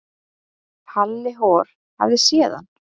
Halli hor hafði séð hann.